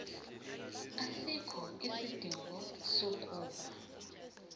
asikho isidingo sokuba